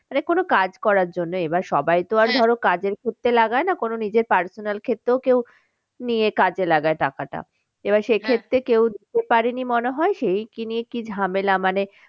মানে কোনো কাজ করার জন্য। এবার সবাই তো ধরো কাজর ক্ষেত্রে লাগায় না কোনো নিজের personal ক্ষেত্রেও কেউ নিয়ে কাজে লাগায় টাকাটা। এবার কেউ দিতে পারেনি মনে হয় সেই কি নিয়ে কি ঝামেলা মানে